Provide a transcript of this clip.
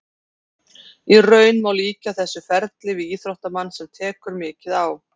Í raun má líkja þessu ferli við íþróttamann sem tekur mikið á.